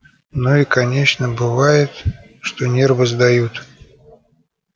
ну и конечно бывает что нервы сдают